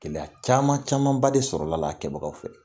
Gɛlɛya caman camanba de sɔrɔlala a la a kɛbagaw fɛ.